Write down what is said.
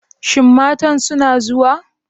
Shin matan suna zuwa?